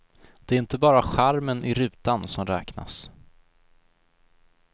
Det är inte bara charmen i rutan som räknas.